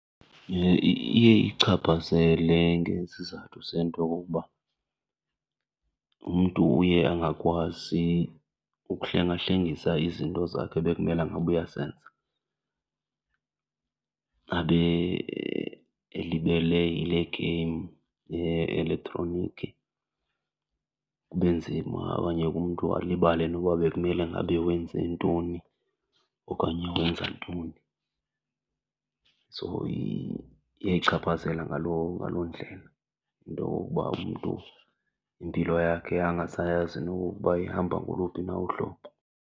Iye , iye iyichaphazele ngezizathu zento yokokuba umntu uye angakwazi ukuhlengahlengisa izinto zakhe ebekumela ngaba uyazenza, abe elibele yile game ye-elektroniki. Kube nzima okanye umntu alibale noba bekumele ngabe wenze ntoni okanye wenza ntoni. So iyayichaphazela ngaloo, ngaloo ndlela into yokokuba umntu impilo yakhe angasayazi nokokuba ihamba ngoluphi na uhlobo.